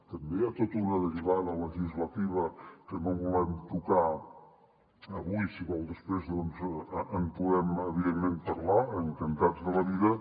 també hi ha tota una derivada legislativa que no volem tocar avui si vol després doncs en podem evidentment parlar encantats de la vida